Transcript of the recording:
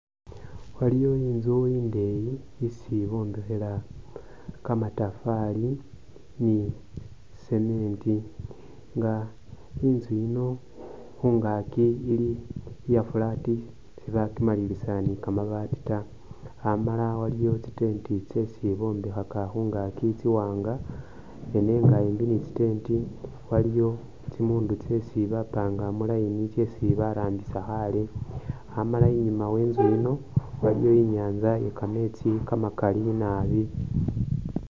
Waliyo inzu indeeyi isi bombekhela kamatafaali ne cement nga inzu iyino khunhgaki ili iye flat sibakimaliliza ne kamabaati ta, amaala aliyo tsi tent tsesi bombekhaka khungaki tsiwanga ne nenga ambi ne tsi tent waliyo tsimundu tsei bapanga mu line tsesi barambisa khaale amala inyuma we inzu iyino waliyo inyanza iye kametsi kamakali naabi.